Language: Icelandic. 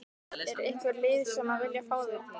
Er einhver lið sem að vilja fá þig?